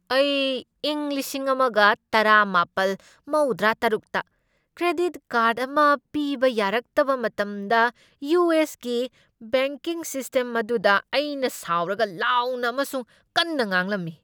ꯑꯩ ꯏꯪ ꯂꯤꯁꯤꯡ ꯑꯃꯒ ꯇꯔꯥꯃꯥꯄꯜ ꯃꯧꯗ꯭ꯔꯥꯇꯔꯨꯛꯇ ꯀ꯭ꯔꯦꯗꯤꯠ ꯀꯥꯔꯗ ꯑꯃ ꯄꯤꯕ ꯌꯥꯔꯛꯇꯕ ꯃꯇꯝꯗ ꯌꯨ. ꯑꯦꯁ. ꯒꯤ ꯕꯦꯡꯀꯤꯡ ꯁꯤꯁꯇꯦꯝ ꯑꯗꯨꯗ ꯑꯩꯅ ꯁꯥꯎꯔꯒ ꯂꯥꯎꯅ ꯑꯃꯁꯨꯡ ꯀꯟꯅ ꯉꯥꯡꯂꯝꯃꯤ ꯫